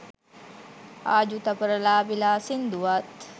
ආජු තපර ලාහිල සිංදුවත්